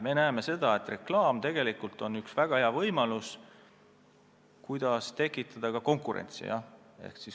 Me näeme seda, et reklaam on tegelikult väga hea võimalus tekitada konkurentsi.